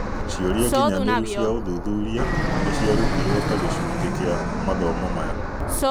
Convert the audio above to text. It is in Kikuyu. Cĩũria nginyanĩru cia ũthuthuria nĩ ciarutirwo ta-gĩcunji kĩa mathomo maya.